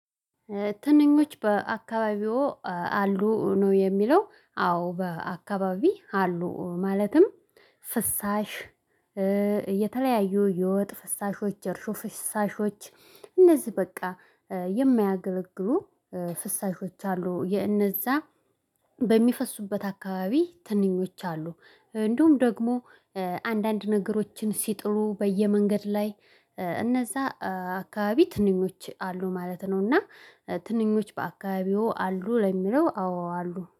ትንኞች በአካባቢዎ አሉ ነው የሚለው? አዎ በአካባቢ አሉ ማለትም። ፍሳሽ የተለያዩ የወጥ ፍሳሾች እርሾ ፍሳሾች። እነዚ በቃ የማያገለግሉ ፍሳሾች አሉ። የእነዛ በሚፈሱበት አካባቢ ትንኞች አሉ። እንደውም ደግሞ አንዳንድ ነገሮችን ሲጥሉ በየመንገድ ላይ እነዛ አካባቢ ትንኞች አሉ ማለት ነው። እና ትንኞች በአካባቢዎ አሉ ለሚለው? አዎ አሉ